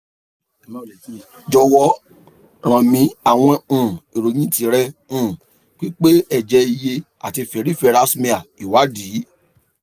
jọwọ rán mi awọn um iroyin ti rẹ um pipe ẹjẹ iye ati peripheral smear iwadi